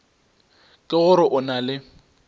ke gore o na le